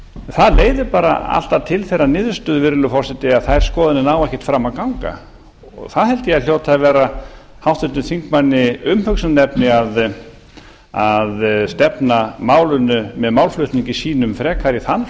það leiðir bara alltaf til þeirrar niðurstöðu virðulegur forseti að þær skoðanir ná ekkert fram að ganga og það held ég að hljóti að vera háttvirtum þingmanni umhugsunarefni að stefna málinu með málflutningi sínum frekar í þann